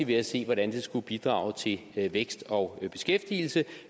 ved at se hvordan det skulle bidrage til vækst og beskæftigelse